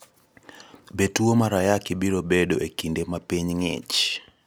Be tuwo mar Ayaki biro bedoe e kinde ma piny ng'ich?